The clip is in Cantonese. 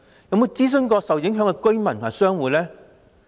有否諮詢受影響的居民和商戶呢？